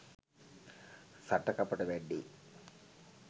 සටකපට වැඩේ